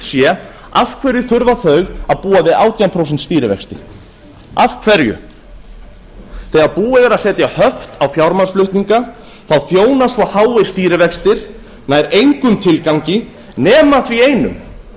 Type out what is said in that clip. sé af hverju þurfa þau að búa við átján prósent stýrivexti þegar búið er að setja höft á fjármagnsflutninga þjóna svo háir stýrivextir nær engum tilgangi nema þeim einum